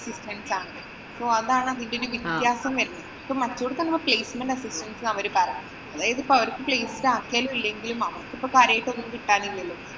അതാണ് അതിന്‍റെ ഒരു വ്യത്യാസം വരുന്നത്. ഇപ്പൊ മറ്റൊടത്ത് അങ്ങനെ placement assistance തരുമെന്നാ അവര് പറയുന്നേ. അവര്‍ക്ക് place ആക്കിയാലും, ഇല്ലെങ്കിലും അവര്‍ക്കിപ്പം കാര്യായിട്ട് ഒന്നും കിട്ടാനില്ലല്ലോ.